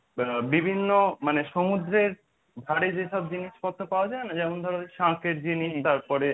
আহ বিভিন্ন মানে সমুদ্রের ধারে যেসব জিনিসপত্র পাওয়া যায় না যেমন ধরো শাঁখের জিনিস তারপরে